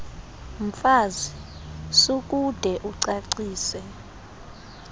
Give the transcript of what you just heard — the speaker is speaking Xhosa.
mfazi sukude ucacise